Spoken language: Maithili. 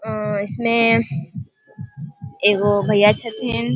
अ इसमें एगो भैया हथीन ।